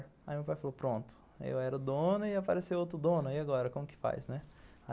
Aí meu pai falou, pronto, eu era dono e apareceu outro dono, e agora como que faz, né?